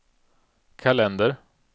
kalender